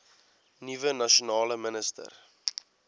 nuwe nasionale minister